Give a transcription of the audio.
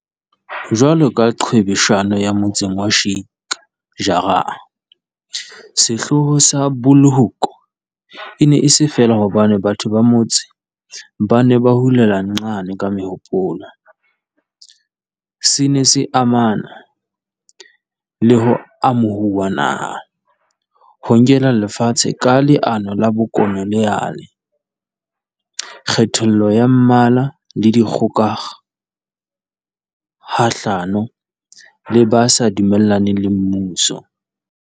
Jwalo ka qhwebeshano ya motseng wa Sheik Jarrah, sehloho sa Bulhoek e ne e se feela hobane batho ba motse ba ne ba hulela nxane ka mehopolo, se ne se amana le ho amohuwa naha, ho nkelwa lefatshe ka leano la bokolo neale, kgethollo ya mmala le dikgoka kgahlano le ba sa dumellaneng le mmuso.